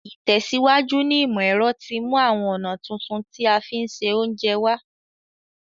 Ìtẹ̀síwájú ní ìmọ̀ ero ti mú àwon ọ̀nà tuntun ti a fi n se ounje wa